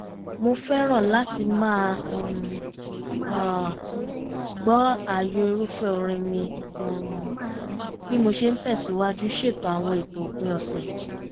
mo fẹ́ràn láti máa um gbọ́ ààyò irúfẹ́ orin mi um bí mo ṣe ń tẹ̀sìwájú ṣètò àwọn ètò òpin ọ̀sẹ̀